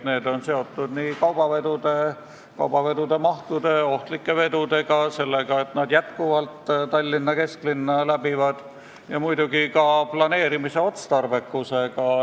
Need on seotud kaubavedudega ja nende mahtudega, ohtlike vedude ja sellega, et nad läbivad endiselt Tallinna kesklinna, muidugi ka planeerimise otstarbekusega.